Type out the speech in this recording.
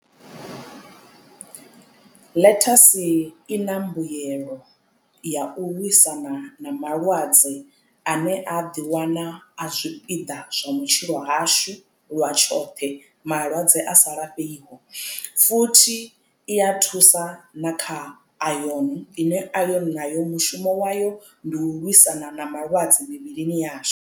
Ḽethasi i na mbuyelo ya u lwisana na malwadze ane a ḓiwana a zwipiḓa zwa matshilo ashu lwa tshoṱhe malwadze a sa lafheiho futhi iya thusa na kha ayoni ine ayoni nayo mushumo wayo ndi u lwisana na malwadze mivhilini yashu.